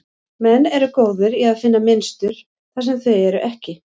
Menn eru góðir í að finna mynstur þar sem þau eru ekki.